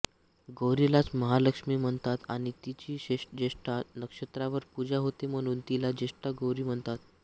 गौरीलाच महालक्ष्मी म्हणतात आणि तिची ज्येष्ठा नक्षत्रावर पूजा होते म्हणून तिला ज्येष्ठा गौरी म्हणतात